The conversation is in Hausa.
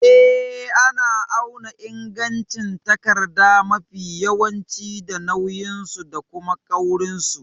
Eh, ana auna ingancin takarda mafi yawanci da nauyinsu da kuma kaurinsu.